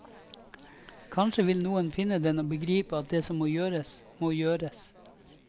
Kanskje vil noen finne den og begripe at det som må gjøres, må gjøres.